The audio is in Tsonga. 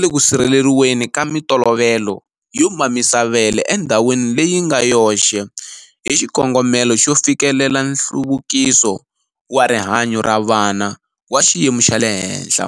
le ku sirheleriweni ka mitolovelo yo mamisa vele endhawini leyi nga yoxe hi xikongomelo xo fikelela nhluvukiso wa rihanyu ra vana wa xiyimo xa le henhla.